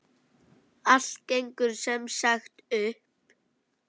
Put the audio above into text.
Allt gengur sem sagt upp!